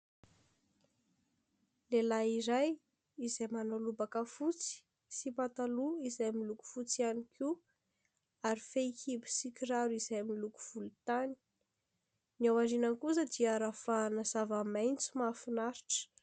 Lehilahy iray izay manao lobaka fotsy sy pataloha izay amin'ny loko fotsy ihany koa ary fehikibo sy kiraro izay amin'ny loko volontany. Ny aoriana kosa dia ravahana zava-maitso mahafinaritra.